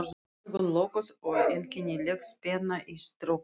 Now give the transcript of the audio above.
Augun lokuð og einkennileg spenna í skrokknum.